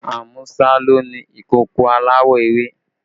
Amusa ló ni ìkòkò aláwọ̀ ewé